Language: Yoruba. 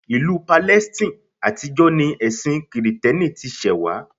Ìlú Palestine àtijọ́ ni ẹ̀sin kìrìtẹ́nì ti ṣẹ̀wá